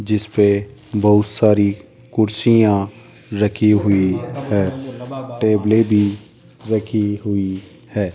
जिसपे बहुत सारी कुर्सियां रखी हुई हैं टेबलें भी रखी हुई हैं।